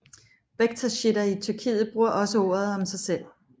Bektashitter i Tyrkiet bruger også ordet om sig selv